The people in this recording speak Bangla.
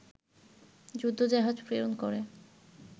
যুদ্ধজাহাজ প্রেরণ করে